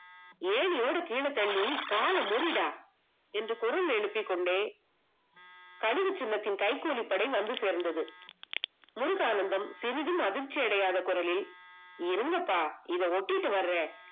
ஏணியோடு கீழே தள்ளி காலம் முடிடா என்று குரல் எழுப்பிக் கொண்டே தனிவுச் சின்னத்தின் கைக்கூலி படை வந்து சேர்ந்தது முருகானந்தம் சிறிதும் அதிர்ச்சி அடையாத குறளில் இருங்க பாய்த ஓட்டிட்டு வரேன்